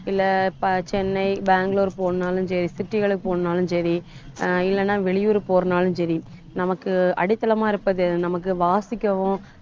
இல்ல இப்ப சென்னை, பெங்களூரு போகணும்னாலும் சரி city களுக்கு போகணும்னாலும் சரி ஆஹ் இல்லைன்னா வெளியூர் போறனாலும் சரி நமக்கு அடித்தளமா இருப்பது என்ன நமக்கு வாசிக்கவும்